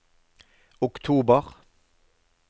oktober